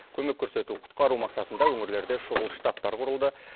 көмек көрсету құтқару мақсатында өңірлерде шұғыл штабтар құрылды